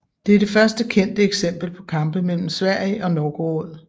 Det er det første kendte eksempel på kampe mellem Sverige og Novgorod